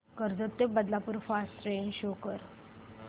कर्जत ते Badlapur fast train show कर